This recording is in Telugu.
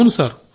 అవును సార్